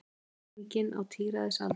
Ók hringinn á tíræðisaldri